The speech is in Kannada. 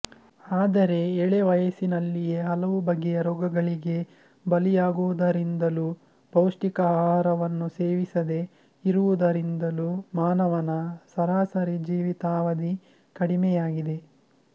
ಆದರೆ ಎಳೆವಯಸ್ಸಿನಲ್ಲಿಯೇ ಹಲವು ಬಗೆಯ ರೋಗಗಳಿಗೆ ಬಲಿಯಾಗುವುದರಿಂದಲೂ ಪೌಷ್ಟಿಕಾಹಾರವನ್ನು ಸೇವಿಸದೆ ಇರುವುದರಿಂದಲೂ ಮಾನವನ ಸರಾಸರಿ ಜೀವಿತಾವಧಿ ಕಡಿಮೆಯಾಗಿದೆ